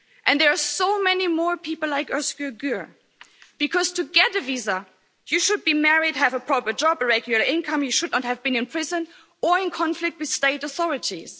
There are so many more people like Özgür Gür, because to get a visa, you should be married, have a proper job, a regular income, you should not have been in prison or in conflict with state authorities.